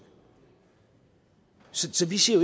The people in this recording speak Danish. så vi siger